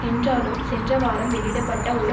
என்றாலும் சென்ற வாரம் வெளியிட பட்ட ஒரு